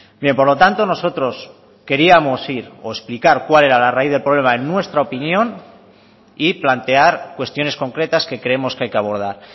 bien por lo tanto nosotros queríamos ir o explicar cuál era la raíz del problema en nuestra opinión y plantear cuestiones concretas que creemos que hay que abordar